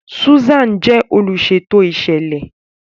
Susan jẹ oluṣeto iṣẹlẹ.